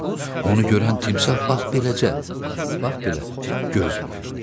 onu görən timsah bax beləcə, bax belə göz vurdu.